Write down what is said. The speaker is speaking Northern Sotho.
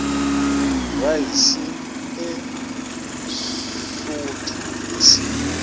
raese e sootho e se